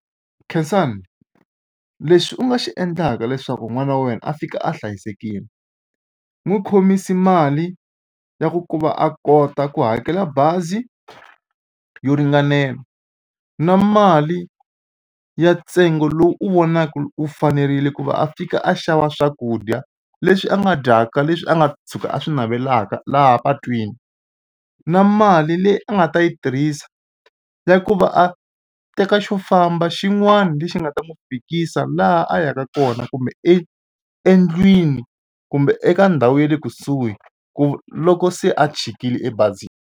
Khensani lexi u nga xi endlaka leswaku n'wana wa wena a fika a hlayisekile n'wi khomisa mali ya ku ku va a kota ku hakela bazi yo ringanela na mali ya ntsengo lowu u vonaka u fanerile ku va a fika a xava swakudya leswi a nga dyaka leswi a nga tshuka a swi navelaka laha patwini na mali leyi a nga ta yi tirhisa ya ku va a teka xo famba xin'wana lexi nga ta n'wi fikisa laha a yaka kona kumbe e endlwini kumbe eka ndhawu ya le kusuhi ku loko se a chikile ebazini.